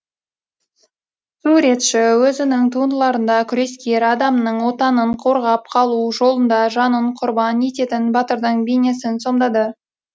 суретші өзінің туындыларында күрескер адамның отанын қорғап қалу жолында жанын құрбан ететін батырдың бейнесін сомдады